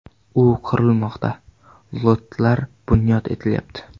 U qurilmoqda, lotlar bunyod etilyapti.